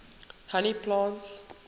honey plants